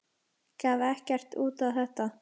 Gaf ekkert út á þetta.